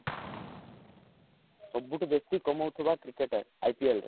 ସବୁଠୁ ବେସୀ କମଉଥିବା cricketer IPL ର